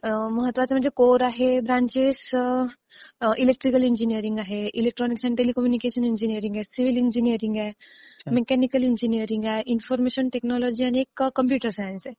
महत्वाचं म्हणजे कोर आहेत ब्रॅंचेस. इलेक्ट्रिकल इंजिनियरिंग आहे, इलेक्ट्रॉनिक्स अँड टेलिकम्युनिकेशन इंजिनियरिंग आहे, सिव्हिल इंजिनियरिंग आहे, मेकॅनिकल इंजिनियरिंग आहे, इन्फॉर्मेशन टेकनॉलॉजि आणि कॉम्प्युटर सायन्स आहे